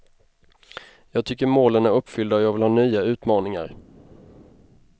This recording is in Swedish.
Jag tycker målen är uppfyllda och jag vill ha nya utmaningar.